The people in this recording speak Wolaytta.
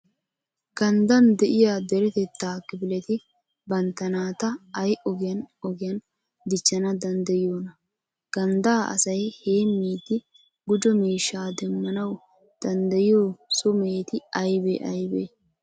Ganddan de'iya deretettaa kifileti bantta naata ay ogiyan ogiyan dichchana danddayiyoonaa? Ganddaa asay heemmidi gujo miishshaa demmanawu danddayiyo so meheti aybee aybee?